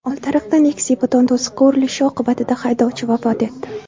Oltiariqda Nexia beton to‘siqqa urilishi oqibatida haydovchi vafot etdi.